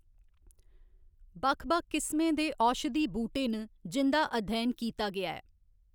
बक्ख बक्ख किस्में दे औशधी बूह्टे न, जिं'दा अध्ययन कीता गेआ ऐ।